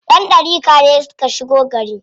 Ƴan ɗariƙa ne suka shigo gari.